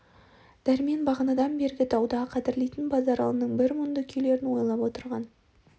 дәрмен бағанадан бергі дауда қадірлейтін базаралының бір мұнды күйлерін ойлап отырған